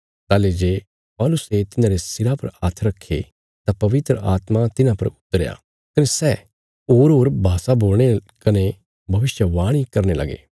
ताहली जे पौलुसे तिन्हांरे सिरा पर हाथ रखे तां पवित्र आत्मा तिन्हां परा उतरया कने सै होरहोर भाषा बोलणे कने भविष्यवाणी करने लगे